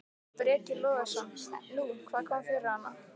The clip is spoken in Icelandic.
Breki Logason: Nú, hvað kom fyrir hana?